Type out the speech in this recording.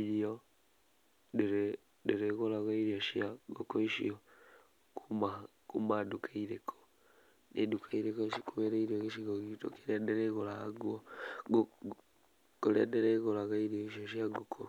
irio, ndĩrĩguraga irio cia ngũkũ icio kuma nduka irĩkũ, nĩ nduka irĩkũ cikuhĩrĩirie gĩcigo gitũ kĩria ndĩrigũraga, kũrĩa ndĩrĩgũraga irio icio cia ngũkũ.